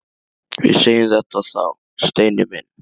Við segjum þetta þá, Steini minn!